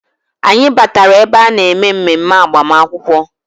Anyị batara ebe a na-eme mmemme agbamakwụkwọ